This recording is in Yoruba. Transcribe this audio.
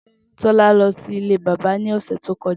Tola lọ sí ilé bábà ní ọ̀sẹ̀ tí o kọjá